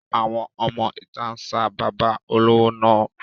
Àwọn ọmọ ìta ń sa bàbá olówó náà.